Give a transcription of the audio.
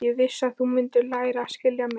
Ég vissi að þú mundir læra að skilja mig.